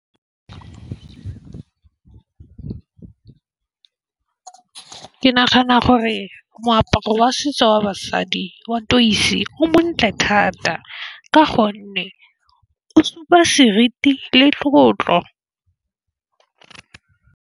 Ke nagana gore moaparo wa setso wa basadi wa o montle thata ka gonne o supa seriti le tlotlo.